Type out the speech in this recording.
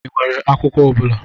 Ị nwere akwụkwọ ọ bụla?